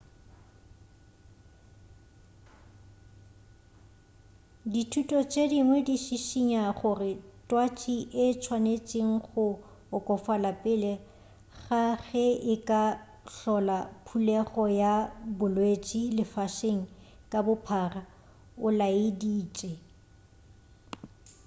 dithuto tše dingwe di šišinya gore twatši e swanetše go okofala pele ga ge e ka hlola phulego ya bolwetše lefaseng ka bophara o laeditše